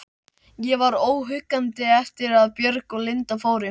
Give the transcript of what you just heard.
Ég var óhuggandi eftir að Björg og Linda fóru.